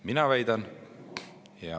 Mina väidan …